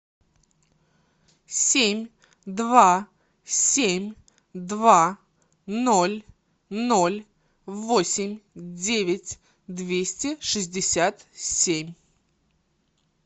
семь два семь два ноль ноль восемь девять двести шестьдесят семь